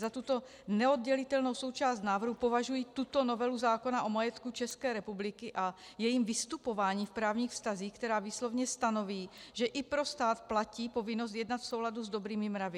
Za tuto neoddělitelnou součást návrhu považuji tuto novelu zákona o majetku České republiky a jejím vystupování v právních vztazích, která výslovně stanoví, že i pro stát platí povinnost jednat v souladu s dobrými mravy.